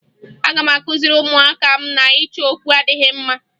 Aga m akụziri ụmụaka m na ịchọ okwu adịghị mma